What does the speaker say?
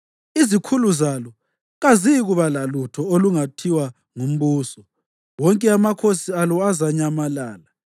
Izikhulu zalo kaziyikuba lalutho olungathiwa ngumbuso, wonke amakhosana alo azanyamalala.